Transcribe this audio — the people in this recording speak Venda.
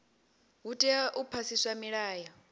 hu tea u phasiswa milayo